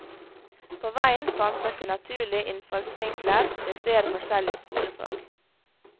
På veien fantes det naturlige innfallsvinkler til flere forskjellige skolefag.